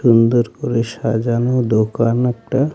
সুন্দর করে সাজানো দোকান একটা.